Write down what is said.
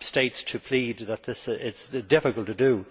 states to plead that this is difficult to do.